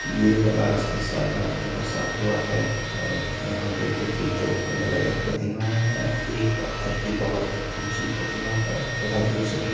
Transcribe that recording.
यह बनारस के सारनाथ में बसा हुआ है और यहां बुद्ध की दो अलग-अलग प्रतिमाएं है एक पत्थर की बोहोत ऊंची प्रतिमा है तथा दूसरी --